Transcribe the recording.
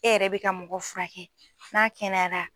E yɛrɛ bɛ ka mɔgɔ fura kɛ n'a kɛnɛyara